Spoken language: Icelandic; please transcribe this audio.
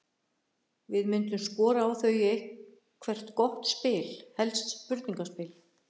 Við myndum skora á þau í eitthvert gott spil, helst spurningaspil.